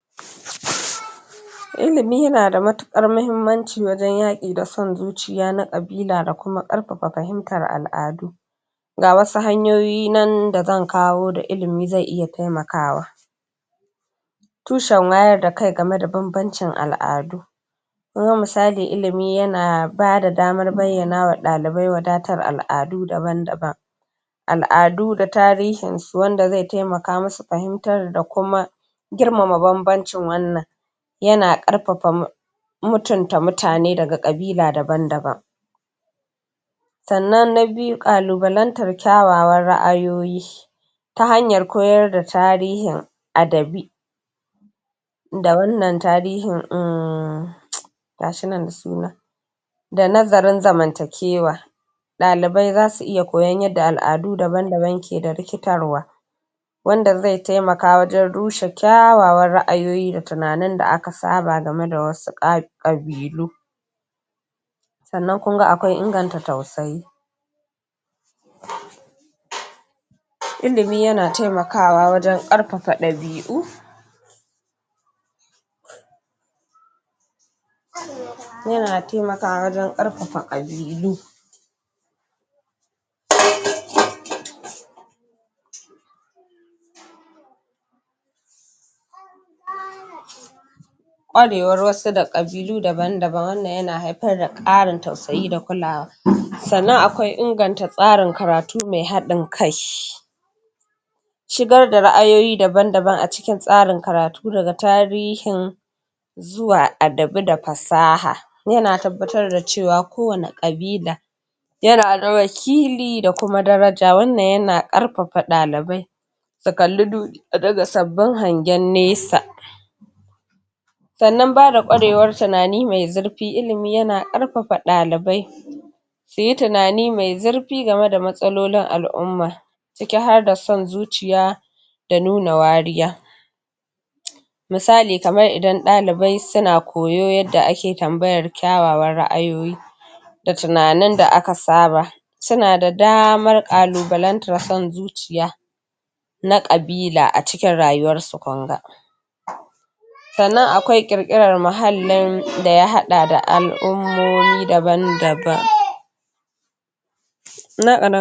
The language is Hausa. ilimi nada matuƙar mahimmanci wajen yaƙi da son zuciya na ƙabila da kuma ƙarfafa fahimtar al'adu ga wasu hanyoyi nan da zan kawo da ilimi zai iya taimakawa tushen wayar da kai game da banbancin al'adu kuma misali ilimi yana bada damar bayyanawa libai wadatar al'adu daban-daban al'adu da tarihin su wanda zai taimaka musu fahimtar da kuma girmama banbancin wannan yana ƙarfafa mutunta mutane daga ƙabila daban-daban sannan na biyu ƙalubalantar kyawawan ra'ayoyi ta hanyar koyar da tarihin adabi da wannan tarihin uhmmm gashinan da suna da nazarin zamantakewa ɗalibai zasu iya koyon yadda al'adu daban-daban keda rikitarwa wanda zai taimaka wajen rushe kyawawan ra'ayoyi da tunanin da aka saba game da wasu ƙabilu sannan kunga akwai inganta tausayi ilimi yana taimakwa wajen ƙarfafa ɗabi'u yana taimakwa wajen ƙarfafa ɗabi'u ƙware war wasu da ƙabilu daban-daban wannan yana haifar da ƙarin tausayi da kulawa sannan akwai inganta tsarin karatu mai haɗin kai shigar da ra'ayoyi daban-daban a cikin tsarin karatu daga tarihin zuwa adabi da fasaha yana tabbatar da cewa ko wane ƙabila yana da kuma daraje. wannan yana ƙarfafa ɗalibai. su kalli duniya da sabbin hangen nesa sannan baya da ƙwarewar tunani mai zurfi ilimi yana ƙarfafa ɗalibai. suyi tunani mai zurfi game da matsalolin al'umma ciki harda son zuciya da nuna wariya. misali kamar idan ɗalibai suna koyo yadda ake tambayar kyawawan ra'ayoyi da tunanin da aka saba suna da damar ƙalubalantar son zuciya na ƙabila a cikin rayuwar su kunga sannan akwai ƙirƙirar muhallin da ya haɗa da al'ummomi daban-daban